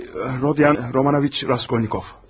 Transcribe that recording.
Rodiyan Romanovich Raskolnikov.